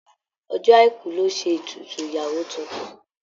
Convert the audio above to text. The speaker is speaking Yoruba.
Ọjọ́ Àìkú lọ́ ṣe ètùtù ìyàwó tuntun.